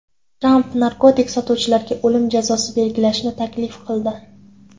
Tramp narkotik sotuvchilarga o‘lim jazosi belgilashni taklif qildi.